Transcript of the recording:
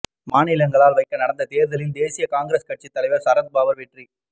மாநிலங்களவைக்கு நடந்த தேர்தலில் தேசியவாத காங்கிரஸ் கட்சித் தலைவர் சரத் பவார் வெற்றி